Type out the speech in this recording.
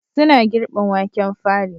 Suna girbin waken fari